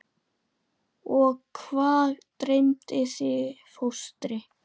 Og hvað dreymdi þig fóstri?